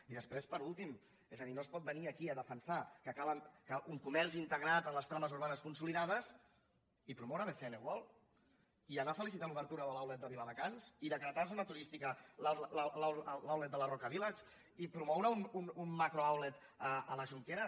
i després per últim és a dir no es pot venir aquí a de·fensar que cal un comerç integrat a les trames urbanes consolidades i promoure bcn worldtar l’obertura de l’outlet de viladecans i decretar zo·na turística l’outlet de la roca village i promoure un macrooutlet a la jonquera